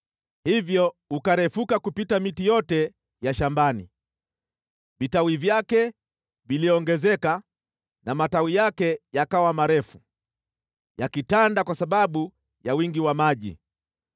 Hivyo ukarefuka kupita miti yote ya shambani; vitawi vyake viliongezeka na matawi yake yakawa marefu, yakitanda kwa sababu ya wingi wa maji.